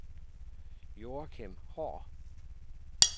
Joachim Haahr